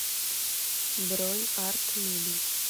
бронь арт мебель